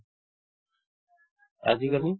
আজিকালি